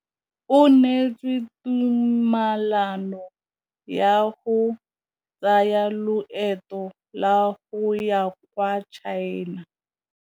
O neetswe tumalanô ya go tsaya loetô la go ya kwa China.